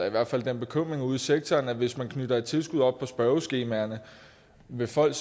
i hvert fald den bekymring ude i sektoren at hvis man knytter et tilskud op på spørgeskemaerne vil folk